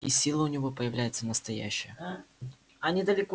и сила у него появляется настоящая